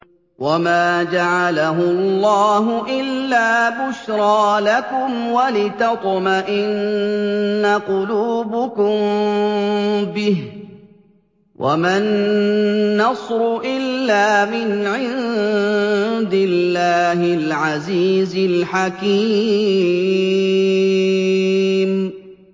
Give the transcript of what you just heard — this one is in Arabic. وَمَا جَعَلَهُ اللَّهُ إِلَّا بُشْرَىٰ لَكُمْ وَلِتَطْمَئِنَّ قُلُوبُكُم بِهِ ۗ وَمَا النَّصْرُ إِلَّا مِنْ عِندِ اللَّهِ الْعَزِيزِ الْحَكِيمِ